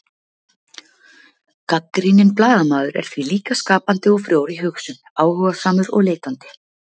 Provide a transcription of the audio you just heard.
Gagnrýninn blaðamaður er því líka skapandi og frjór í hugsun, áhugasamur og leitandi.